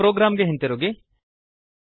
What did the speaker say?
ನಮ್ಮ ಪ್ರೊಗ್ರಾಮ್ ಗೆ ಹಿಂತಿರುಗಿ